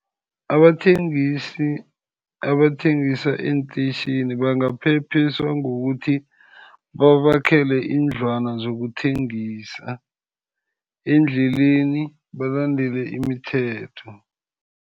Abathengisi, abathengisa eenteyitjhini bangaphephiswa ngokuthi babakhele iindlwana zokuthengisa endleleni. Balandele imithetho.